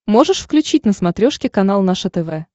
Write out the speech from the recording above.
можешь включить на смотрешке канал наше тв